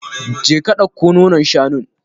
Je ka ɗauko nonon shanun.